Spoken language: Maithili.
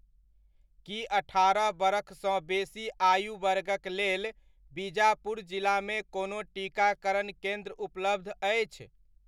की अठारह बरख सँ बेसी आयु वर्गक लेल बिजापुर जिलामे कोनो टीकाकरण केन्द्र उपलब्ध अछि ?